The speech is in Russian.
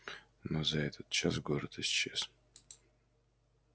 но за этот час город исчез